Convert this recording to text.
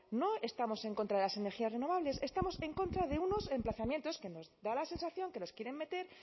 no estamos en contra de las energías renovables estamos en contra de unos emplazamientos que nos da la sensación que nos quieren meter